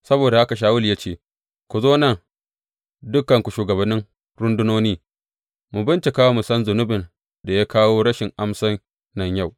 Saboda haka Shawulu ya ce, Ku zo nan dukanku shugabannin rundunoni, mu bincika mu san zunubin da ya kawo rashin amsan nan yau.